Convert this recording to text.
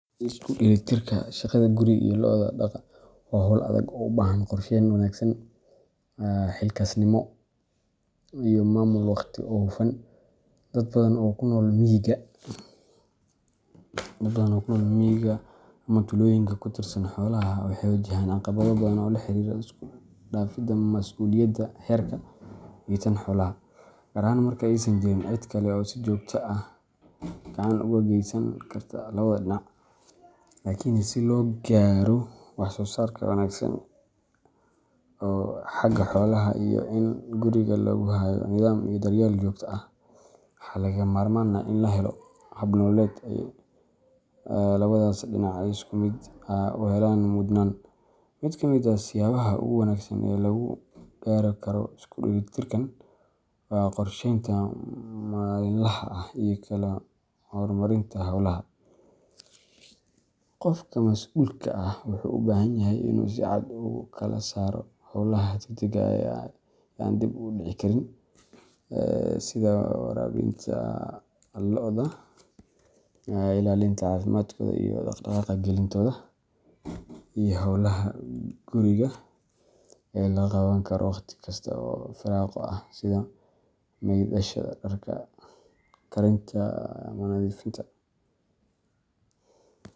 Isku dheelitirka shaqada guriga iyo lo'da daaqa waa hawl adag oo u baahan qorsheyn wanaagsan, xilkasnimo, iyo maamul waqti oo hufan. Dad badan oo ku nool miyiga ama tuulooyinka ku tiirsan xoolaha waxay wajahayaan caqabado badan oo la xiriira isku dhafidda mas’uuliyadda reerka iyo tan xoolaha, gaar ahaan marka aysan jirin cid kale oo si joogto ah gacan uga geysan karta labada dhinac. Laakiin si loo gaaro wax-soo-saar wanaagsan oo xagga xoolaha ah, iyo in guriga lagu hayo nidaam iyo daryeel joogto ah, waxaa lagama maarmaan ah in la helo hab nololeed ay labadaas dhinac si isku mid ah u helaan mudnaan. Mid ka mid ah siyaabaha ugu wanaagsan ee lagu gaari karo isku dheelitirkan waa qorsheynta maalinlaha ah iyo kala hormarinta hawlaha. Qofka mas’uulka ah wuxuu u baahan yahay inuu si cad u kala saaro hawlaha degdegga ah ee aan dib u dhici karin sida waraabinta lo’da, ilaalinta caafimaadkooda, iyo daaq gelintooda iyo hawlaha guriga ee la qaban karo waqti kasta oo firaaqo ah sida maydhashada dharka, karinta ama nadiifinta.